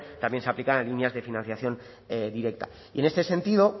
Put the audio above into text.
también se aplicaba en líneas de financiación directa y en este sentido